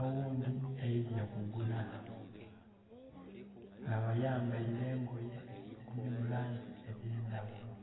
oghundhi aidye kugula. Nga bayambaire engoye edhiri mu langi edh'endaghulo.